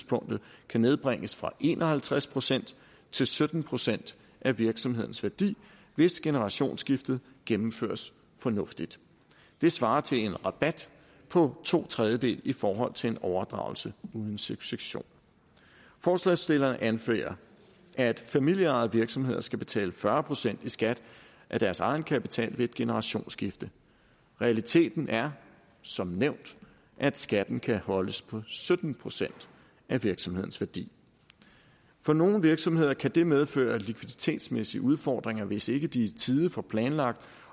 kan nedbringes fra en og halvtreds procent til sytten procent af virksomhedens værdi hvis generationsskiftet gennemføres fornuftigt det svarer til en rabat på to tredjedele i forhold til en overdragelse uden succession forslagsstillerne anfører at familieejede virksomheder skal betale fyrre procent i skat af deres egenkapital ved et generationsskifte realiteten er som nævnt at skatten kan holdes på sytten procent af virksomhedens værdi for nogle virksomheder kan det medføre likviditetsmæssige udfordringer hvis ikke de i tide får planlagt